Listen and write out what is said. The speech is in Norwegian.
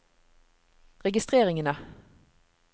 registreringene